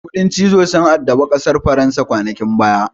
Kuɗin cizo sun addabi ƙasar faransa kwanakin baya.